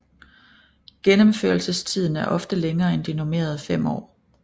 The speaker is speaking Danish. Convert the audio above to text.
Gennemførelsestiden er ofte længere end de normerede fem år